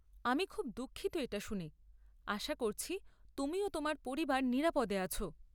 আমি খুব দুঃখিত এটা শুনে। আশা করছি তুমি ও তোমার পরিবার নিরাপদে আছ।